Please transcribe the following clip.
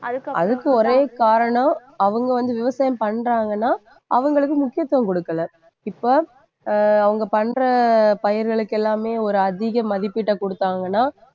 அதுக்கு ஒரே காரணம் அவங்க வந்து விவசாயம் பண்றாங்கன்னா அவங்களுக்கு முக்கியத்துவம் கொடுக்கல. இப்போ அவங்க பண்ற பயிர்களுக்கு எல்லாமே ஒரு அதிக மதிப்பீட்டைக் கொடுத்தாங்கன்னா